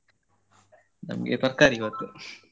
ನಮ್ಗೆ ತರ್ಕಾರಿ ಇವತ್ತು.